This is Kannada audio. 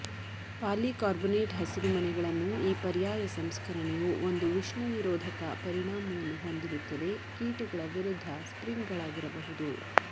ಪಾಲಿಕಾರ್ಬೊನೇಟ್ ಹಸಿರುಮನೆಗಳನ್ನು ಈ ಪರ್ಯಾಯ ಸಂಸ್ಕರಣೆಯು ಒಂದು ಉಷ್ಣ ನಿರೋಧಕ ಪರಿಣಾಮವನ್ನು ಹೊಂದಿರುತ್ತದೆ ಕೀಟಗಳ ವಿರುದ್ಧ ಸ್ಪ್ರಿಂಗ್ಗಳಾಗಿರಬಹುದು